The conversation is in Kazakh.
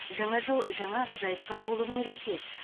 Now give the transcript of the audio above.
жаңа жыл жаңа ғажайыпқа толы мереке